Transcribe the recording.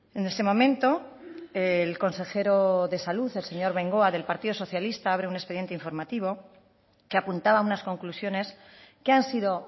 en ese momento el consejero de salud el señor bengoa del partido socialista abre un expediente informativo que apuntaba a unas conclusiones que han sido